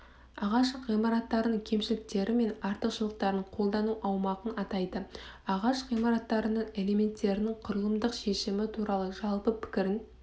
ағаш ғимараттарының кемшіліктері мен артықшылықтарын қолдану аумағын атайды ағаш ғимараттардың элементтерінің құрылымдық шешімі туралы жалпы пікірін